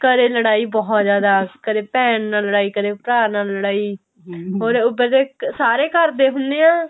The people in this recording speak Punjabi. ਘਰੇ ਲੜਾਈ ਬਹੁਤ ਜਿਆਦਾ ਕਦੇ ਭੈਣ ਨਾਲ ਲੜਾਈ ਕਦੇ ਭਰਾ ਨਾਲ ਲੜਾਈ or ਉੱਪਰ ਤੋਂ ਸਾਰੇ ਘਰਦੇ ਹੁੰਨੇ ਆ